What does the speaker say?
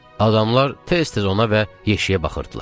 Adamlar tez-tez ona və yeşiyə baxırdılar.